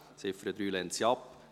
Die Ziffer 3 lehnt sie ab.